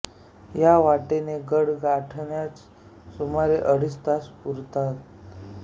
या वाटेने गड गाठण्यास सुमारे अडीच तास पुरतात